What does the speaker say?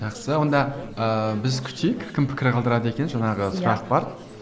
жақсы онда ыыы біз күтейік кім пікір қалдырады екен жаңағы сұрақ бар